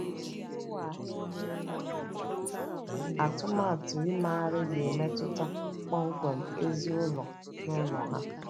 Iwu ahụ e mere atụmatụ imegharị ga - emetụta kpọmkwem ozi ụlọ n’ụlọ ha.